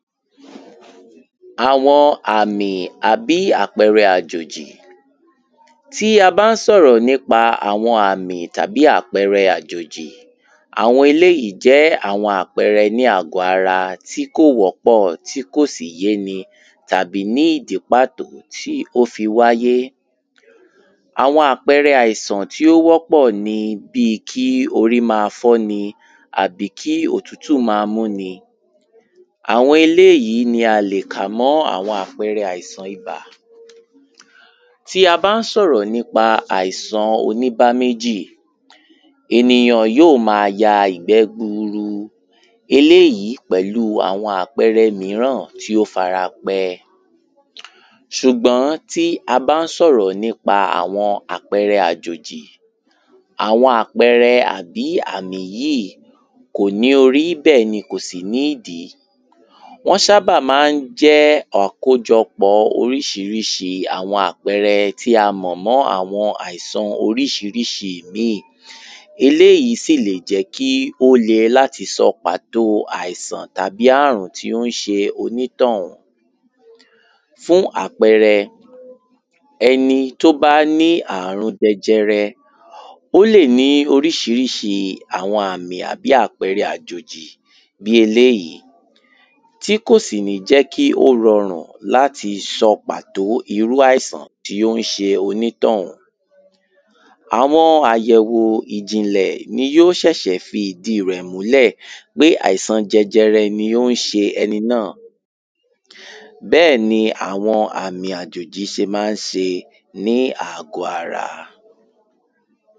àwọn àmì àbí àpẹrẹ àjòjì. tí a bán sọ̀rọ̀ nípa àwọn àmì tàbí àpẹrẹ àjòjì, àwọn eleyìí jẹ́ àwọn àpẹrẹ ní àgbọ-ara tí kò wọ́pọ̀, tí kòsì yéni, tàbí ní ìdí pàtó tí ó fi wáyé. àwọn àpẹrẹ àìsàn tí ó wọ́pọ̀ ni bíi kí orí ma fọ́ni àbí kí òtútù ma múni, àwọn eléyìí ni a lè kà mọ́ àwọn àpẹpẹ àìsàn ibà. tí a bán sọ̀rọ̀ nípa àìsan oníbámẹ́jì, ènìyàn yíò ma ya ìgbẹ́ gburu, eléyìí pẹ̀lúu àwọn àpẹrẹ míràn tí ó farape. ṣùgbọ́n tí a bán sọ̀rọ̀ nípa àwọn ápẹrẹ àjòjì, àwọn àpẹrẹ àbí àmì yíì í, kòní orí bẹ́ẹ̀ni kòsì ní ìdí. wọ́n ṣábà mán jẹ́ àkójọpọ oríṣiríṣi àwọn àpẹrẹ tí a mọ̀ mọ́ àwọn àìsan oríṣiríṣi ìmíì, eléyìí sì lè jẹ́ kí ó lè láti sọ pàtóo àìsàn tàbí àrùn tí o ń ṣe onítọ̀ún. fún àpẹrẹ; ẹni tó bá ní àrun jẹjẹrẹ, ó lè ní oríṣiríṣi àwọn àmì àbí àpẹrẹ àjòjì bí eléyìí, tí kòsì ní jẹ́ kí ó rọrùn láti sọ pàtó irú àìsàn tí ó ń ṣe onítọ̀ún. àwọn àyẹ̀wò ìjìnlẹ̀ ní yíò ṣẹ̀ṣẹ̀ fi ìdíi rẹ̀ múlẹ̀ pé àìsan jẹjẹrẹ ni ó ń ṣe ẹni náà. bẹ́ẹ̀ni àwọn àmì àjòjì ṣe mán ṣe ní àgbọ́-ara.